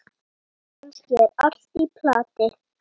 Kannski er allt í plati.